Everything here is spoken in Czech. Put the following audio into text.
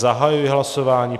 Zahajuji hlasování.